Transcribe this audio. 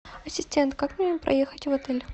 ассистент как мне проехать в отель